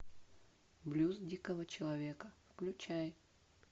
блюз дикого человека включай